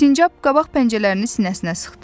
Sincab qabaq pəncələrini sinəsinə sıxdı.